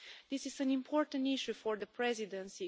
This is an important issue for the presidency.